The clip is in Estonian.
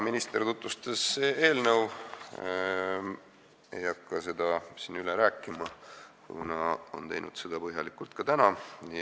Minister tutvustas eelnõu, ma ei hakka seda siin üle rääkima, kuna ta on teinud seda põhjalikult ka täna.